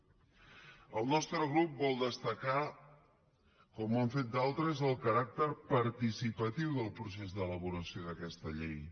el nostre grup vol destacar com ho han fet d’altres el caràcter participatiu del procés d’elaboració d’aquesta llei